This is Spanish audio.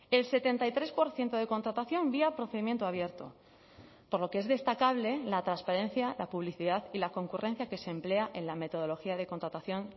el setenta y tres por ciento de contratación vía procedimiento abierto por lo que es destacable la transparencia la publicidad y la concurrencia que se emplea en la metodología de contratación